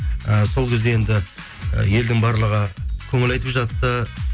ііі сол кезде енді і елдің барлығы көңіл айтып жатты